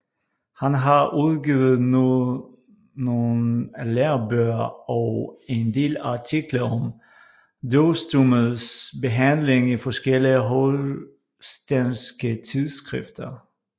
Han har udgivet nogle lærebøger og en del artikler om døvstummes behandling i forskellige holstenske tidsskrifter